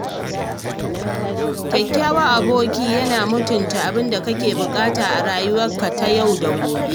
Kyakkyawan aboki yana mutunta abinda kake buƙata a rayuwarka ta yau da gobe.